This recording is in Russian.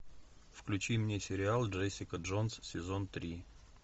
включи мне сериал джессика джонс сезон три